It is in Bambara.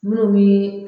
Minnu bi